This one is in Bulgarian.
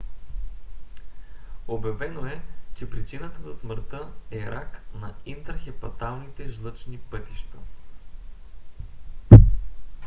обявено е че причината за смъртта е рак на интрахепаталните жлъчни пътища